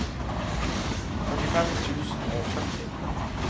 førtifem tusen og førti